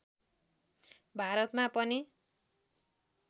भारतमा पनि